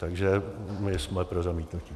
Takže my jsme pro zamítnutí.